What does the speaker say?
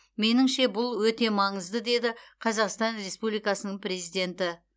меніңше бұл өте маңызды деді қазақстан республикасының президенті